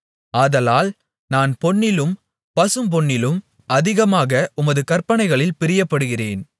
ஆதலால் நான் பொன்னிலும் பசும்பொன்னிலும் அதிகமாக உமது கற்பனைகளில் பிரியப்படுகிறேன்